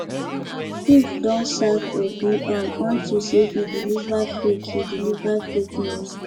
chief don sack obi um unto say he deliver fake he deliver fake news